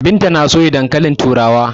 Binta na soya dankalin turawa.